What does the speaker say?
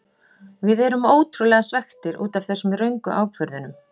Við erum ótrúlega svekktir útaf þessum röngu ákvörðunum.